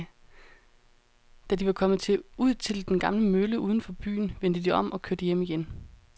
Da de var kommet ud til den gamle mølle uden for byen, vendte de om og kørte hjem igen.